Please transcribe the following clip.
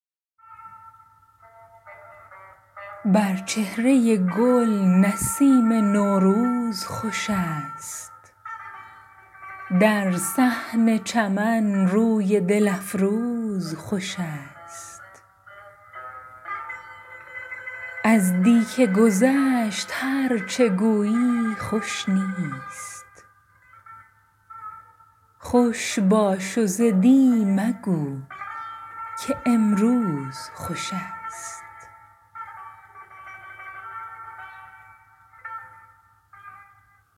بر چهرۀ گل نسیم نوروز خوش است در صحن چمن روی دل افروز خوش است از دی که گذشت هر چه گویی خوش نیست خوش باش و ز دی مگو که امروز خوش است